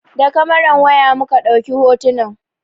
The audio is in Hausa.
Da kamaran waya muka ɗauki hotunan.